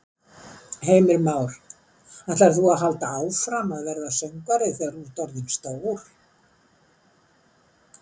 Heimir Már: Ætlar þú að halda áfram að verða söngvari þegar þú ert orðinn stór?